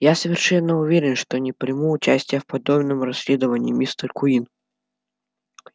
я совершенно уверен что не приму участия в подобном расследовании мистер куинн